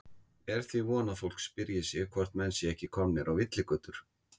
Eru því von að fólk spyrji sig hvort menn séu ekki komnir á villigötur?